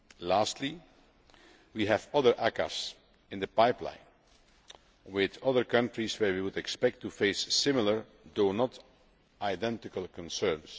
Lastly, we have other ACAAs in the pipeline with other countries where we would expect to face similar, though not identical, concerns.